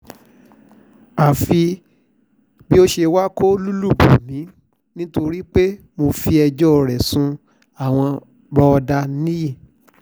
àfi bó ṣe wàá kó lùlù bò mí nítorí pé mo fẹjọ́ ẹ̀ sun àwọn bọ́dà níyì